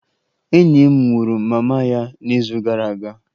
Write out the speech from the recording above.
Enyi m nwụrụ mama ya n'izu gara aga